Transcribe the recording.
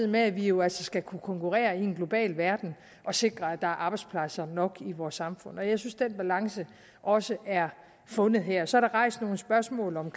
med at vi jo altså skal kunne konkurrere i en global verden og sikre at der er arbejdspladser nok i vores samfund jeg synes at den balance også er fundet her så er der rejst nogle spørgsmål om